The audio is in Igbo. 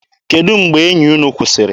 Kedụ mgbe enyi unu kwụsịrị?